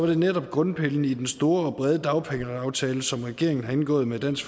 det netop grundpillen i den store og brede dagpengeaftale som regeringen har indgået med dansk